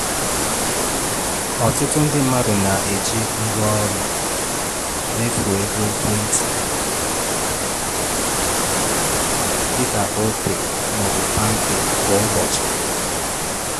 Ọtụtụ ndị mmadụ na-eji ngwaọrụ mmefu ego ekwentị, dịka Opay ma ọbụ Palmpay, kwa ụbọchị. um